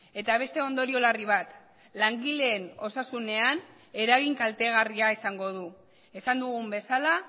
eta beste ondorio larri bat langileen osasunean eragin kaltegarria izango du esan dugun bezala